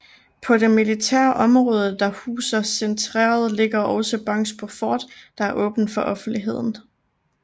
På det militære område der huser centeret ligger også Bangsbo Fort der er åbent for offentligheden